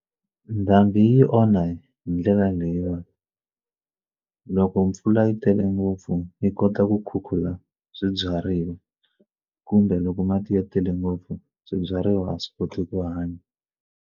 Ndhambi yi onha hi ndlela leyiwani loko mpfula yi tele ngopfu yi kota ku khukhula swibyariwa kumbe loko mati ya tele ngopfu swibyariwa a swi koti ku hanya.